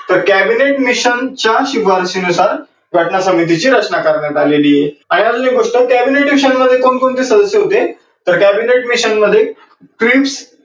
तर Cabinet mission च्या शिफारसीनुसार घटना समितीची रचना करण्यात आलेली आहे. आणि अजून एक गोष्ट cabinet mission मध्ये कोण कोणते सदस्य होते, तर cabinet mission मध्ये cripps